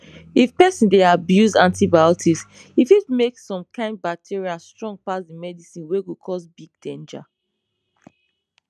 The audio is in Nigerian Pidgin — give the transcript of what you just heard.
if pesin dey abuse antibiotics e fit make some kind bacteria strong pass the medicine wey go cause big danger